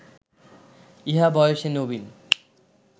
ইহা বয়সে নবীন